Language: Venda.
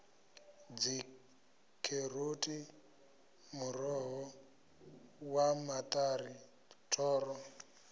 dzikheroti muroho wa maṱari thoro